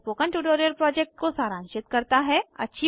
यह spoken tutorial project को सारांशित करता है